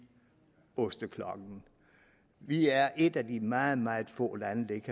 osteklokke vi er et af de meget meget få lande der ikke